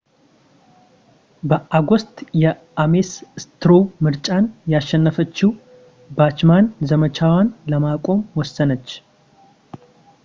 በኦገስት የአሜስ ስትሮው ምርጫን ያሸነፈችው ባችማን ዘመቻዋን ለማቆም ወሰነች